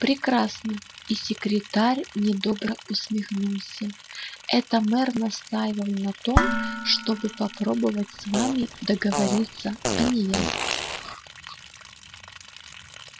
прекрасно и секретарь недобро усмехнулся это мэр настаивал на том чтобы попробовать с вами договориться а не я